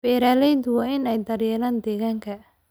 Beeralayda waa in ay daryeelaan deegaanka.